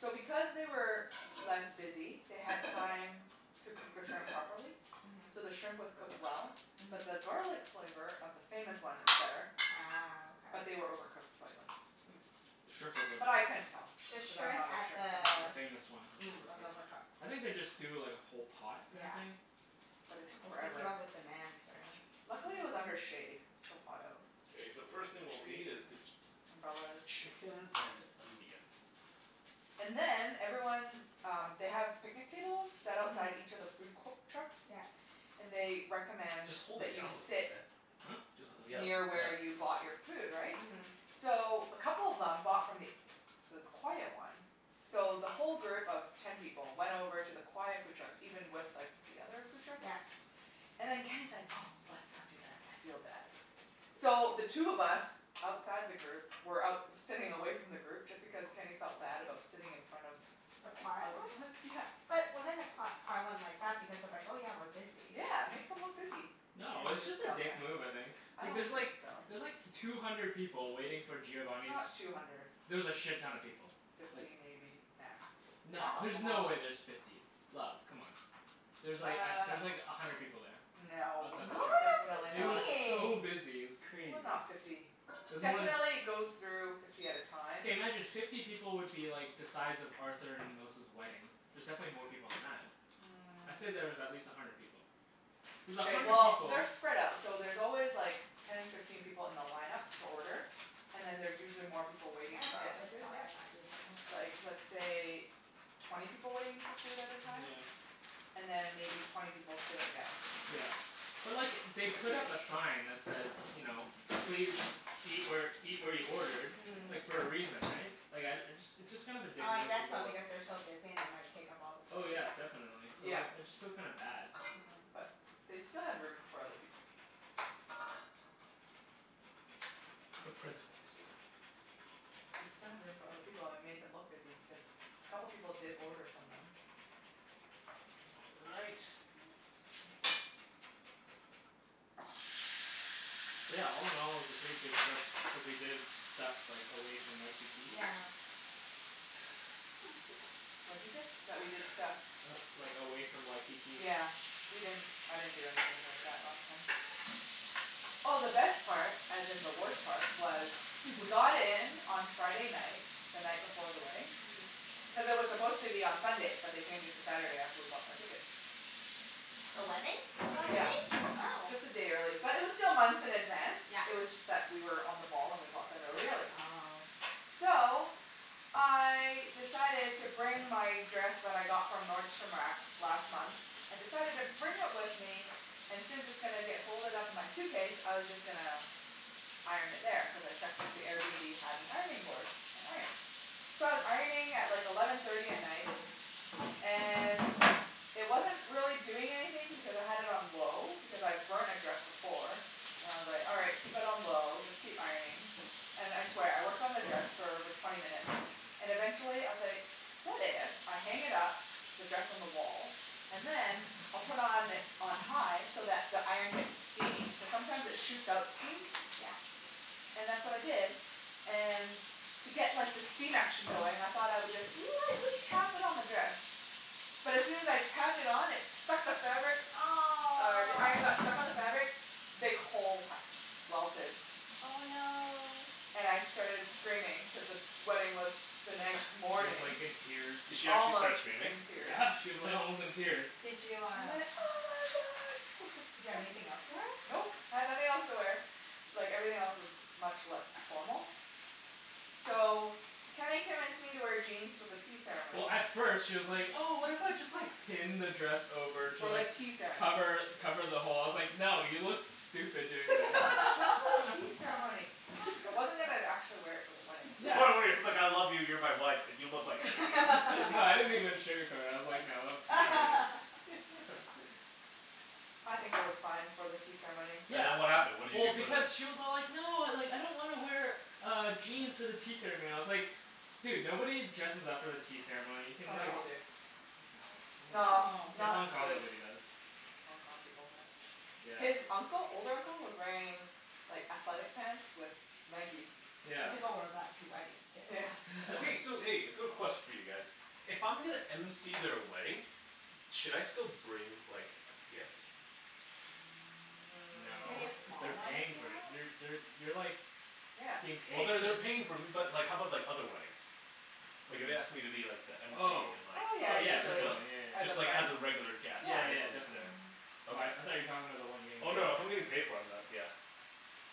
So because they were less busy, they had time to cook the shrimp properly. Mhm. So the shrimp was cooked well, but the Mhm. garlic flavor of the famous one, it was better. Ah. But Okay. they were overcooked slightly. The shrimp Mm. was But I overcooked. couldn't tell The because I'm shrimp not a at shrimp the The connoisseur. famous one was mm was overcooked. overcooked. I think they just do like a whole pot kinda Yeah. thing. But it took forever. Luckily, it was Uh under shade, cuz it's so hot out. Okay, It's so the like first thing the we'll need trees is the, and umbrellas. chicken and onion. And then everyone um, they have picnic tables, set outside each Mhm. of the food co- trucks, Yeah. and they recommend Just hold that it you down sit Huh? Jus- yeah, near yeah. where you Oh bought your food, right? Mhm. So a couple of them bought from th- the quiet one. So the whole group of ten people went over to the quiet food truck even with like the other food truck. Yeah. And then Kenny's like, "Oh, let's not do that, I feel bad." So, the two of us outside the group were out sitting away from the group just because Kenny felt bad about sitting in front of The the quiet other one? bus, yeah. But wouldn't the qui- quiet one like that because they're like, "Oh yeah, we're busy." Yeah, it makes them look busy. No, Kenny it was just just a felt dick bad. move I think. I Like don't there's think like, so. there's like two hundred people waiting for It's Giovani's not two hundred. There was a shit-ton of people, like Fifty maybe, max. No, That's a there's no way lot. there's fifty, love, c'mon. There's like Uh, there's like a hundred people there. no. Outside the Really? truck. Definitely, It That's was not. so insane! busy, it was It was crazy. not fifty. It was more tha- Definitely goes through fifty at a time. Okay, imagine fifty people would be like the size of Arthur and Melissa's wedding. There's definitely more people than that. I'd say that there's at Mm. least a hundred people. There's a OK, hundred well people they're spread out. So there's always like ten, fifteen people in the line-up to order. And then there's usually more people Can waiting I to get borrow their this food, while yeah. you're not using Like, it? let's say twenty people waiting for food at a time? And Yeah. then maybe twenty people sitting down. Yeah. But look it, they put up a sign that says you know, please Fiftyish eat where eat where you ordered Mm. like, for a reason, eh? Like, I uh, it's just kind of a dick I move to guess go so, up because they're so busy and they might take up all the Oh space. yeah, definitely. So Yeah, like, I just feel kinda bad. but Oh. they still had room for other people. It's the principle too. They still had room for other people and we made them look busy because a couple of people did order from them. All right. Thank you. Yeah, all- in- all, it was a pretty good trip, cuz we did stuff like away from Waikiki. Yeah. What you say? That we did stuff? Like away from Waikiki. Yeah, we didn't I didn't do anything like that last time. Oh, the best part, as in the worst part was. We got in on Friday night, the night before the wedding, Mhm. cuz it was supposed to be on Sunday but they changed it to Saturday after we bought our ticket. The wedding? The That wedding, yeah. Yeah, changed? Oh. just a day early. But it was still months in advance, Yeah. it was just that we were on the ball and we bought them really early. Oh. So, I decided to bring my dress that I got from Nordstrom Rack last month. I decided to bring it with me and since it's gonna get folded up in my suitcase, I was just gonna iron it there, cuz I checked that the Airbnb have an ironing board, an iron. So I was ironing at like eleven thirty at night and it wasn't really doing anything because I had it on low because I've burnt a dress before, and I was like, "All right, keep it on low, just keep ironing." And I swear, I worked on the dress for over twenty minutes and eventually I was like, "What if I hang it up, the dress on the wall, and then, I'll put on on high so that the iron gets steamy?" Cuz sometimes it shoots out steam. Yeah. And that's what I did. And to get like the steam action going, I thought I would just lightly tap it on the dress. But as soon as I tapped it on, it stuck to the fabric, uh the iron got Aw! stuck to the fabric big hole ha- welted Oh no. And I started screaming cuz the wedding was the She next was morning. like in tears. Did she actually start Almost screaming? in tears. Yeah, she was like almost in tears. Did you I uh went, "oh my god!" Did you have anything else to wear? Nope, I had nothing else to wear. Like, everything else was much less formal. So, Kenny convinced me to wear jeans for the tea Well, ceremony. at first, she was like, "Oh, what if I just like pin the dress over to For the like tea ceremony. cover cover the hole?" I was like, "No, you look stupid doing Just for the that." tea ceremony. I wasn't even actually wear it for the wedding it's like I love you, you're my wife, but you look like an idiot. No I didn't even sugarcoat it. I was like, "No, that looks retarded" I think it was fine for the tea ceremony. And then what happened? What did you Well, do for the? because she was all like, "No, I don't want to wear uh jeans for the tea ceremony." I was like, "Dude, nobody dresses up for the tea ceremony. You can Some like" people No? do. No, nobody No, does. No! In not Hong Kong, the nobody does. Hong Kong people, yeah. Yeah. His uncle old uncle was wearing like athletic pants with Nikes. Some Yeah. people wear that to weddings too. Yeah. Okay, so hey, a quick question for you guys. If I'm gonna MC their wedding, should I still bring like a gift? No. Maybe a Mm. small They're one if paying you for it. want. You're they're you're like Yeah. being Well, paid. they're they're paying for but like how about like other weddings? What Like do if you they mean? asked me to be like the MC Oh in like, Oh yeah, oh should yeah, I usually. still? definitely. Yeah, yeah, As a Just like friend? as a yeah. regular guest, Yeah. Yeah, right? yeah I'm just there. definitely. Mhm. Okay. I I thought you were talking about the one you were getting Oh paid no, if I'm for. getting paid for, I'm not, yeah.